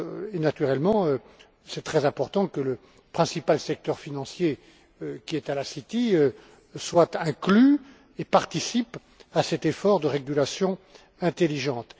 et, naturellement, il est très important que le principal secteur financier, qui est à la City, soit inclus et participe à cet effort de régulation intelligente.